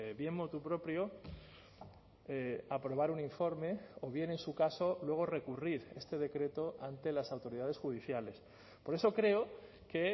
bien motu propio aprobar un informe o bien en su caso luego recurrir este decreto ante las autoridades judiciales por eso creo que